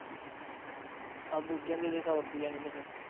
ਆਹੋ ਬੂਟਿਆ ਨੂੰ ਦੇਦੇ ਸੋ ਰੁੱਪਈਆ ਨਹੀਂ ਤੇ ਫੇਰ